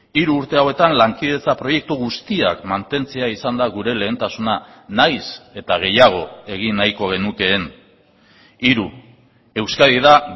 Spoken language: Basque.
hiru urte hauetan lankidetza proiektu guztiak mantentzea izan da gure lehentasuna nahiz eta gehiago egin nahiko genukeen hiru euskadi da